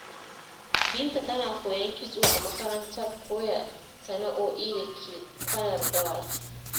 Binta tana koyon kitso a makarantar koya sana’o’I da ke Kwanar Dawaki